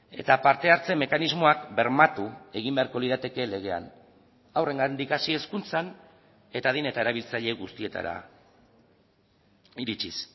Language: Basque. eta parte hartze mekanismoak bermatu egin beharko lirateke legean haurrengandik hasi hezkuntzan eta adin eta erabiltzaile guztietara iritsiz